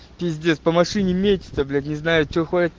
пиздец по машине медь это блять не знаю что